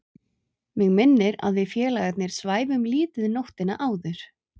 Mig minnir að við félagarnir svæfum lítið nóttina áður.